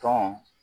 Tɔn